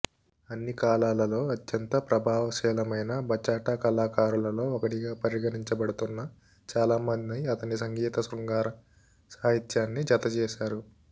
అన్ని కాలాలలో అత్యంత ప్రభావశీలమైన బచాటా కళాకారులలో ఒకడిగా పరిగణించబడుతున్న చాలామంది అతని సంగీతానికి శృంగార సాహిత్యాన్ని జతచేసారు